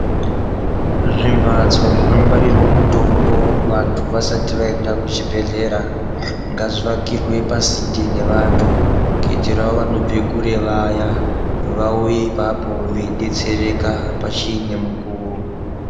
Zvimbatso zvinongwarirwa mutombo vantu vasati vaenda kuchibhedhlera ngazvivakirwe pasinde nevantu. Kuitirawo vanobve kure vaya vauye ipapo vachidetsereka pachine mukuwo.